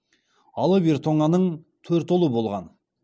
алып ер тоңаның төрт ұлы болған